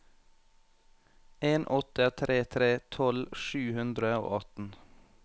en åtte tre tre tolv sju hundre og atten